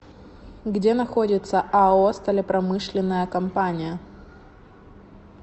где находится ао сталепромышленная компания